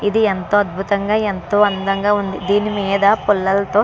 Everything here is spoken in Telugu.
ఇది ఎంతో అద్భుతంగా ఎంతో అందం గ వుంది దీని మీద పుల్లలతో --